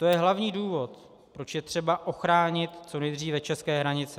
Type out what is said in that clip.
To je hlavní důvod, proč je třeba ochránit co nejdříve české hranice.